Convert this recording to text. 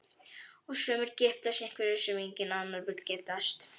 Og sumir giftast einhverjum sem enginn annar vill giftast.